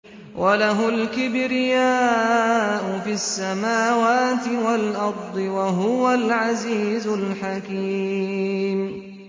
وَلَهُ الْكِبْرِيَاءُ فِي السَّمَاوَاتِ وَالْأَرْضِ ۖ وَهُوَ الْعَزِيزُ الْحَكِيمُ